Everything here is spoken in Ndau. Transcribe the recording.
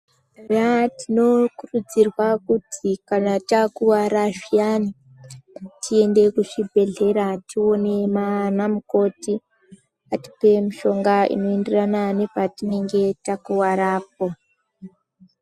Eya tinokurudzirwa kuti kana takuwara zviyani tiende kuzvhibhehlera tioone ana mukoti atipe mishonga inoenderana nepatinenge takuwarapo.